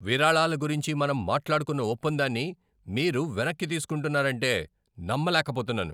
విరాళాల గురించి మనం మాట్లాడుకున్న ఒప్పందాన్ని మీరు వెనక్కి తీసుకుంటున్నారంటే నమ్మలేకపోతున్నాను.